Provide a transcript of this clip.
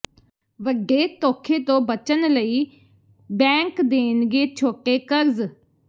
ਵੱਡੇ ਧੋਖੇ ਤੋਂ ਬਚਨ ਲਈ ਬੈਂਕ ਦੇਣਗੇ ਛੋਟੇ ਕਰਜ਼